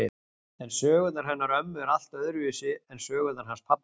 En sögurnar hennar ömmu eru allt öðruvísi en sögurnar hans pabba.